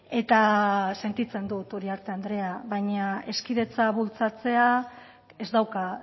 eta sentitzen dut uriarte andrea baina hezkidetza bultzatzea ez dauka